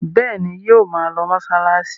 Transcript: Bẹ́ẹ̀ ni, yóò ma lọ mọ́ṣáláṣí.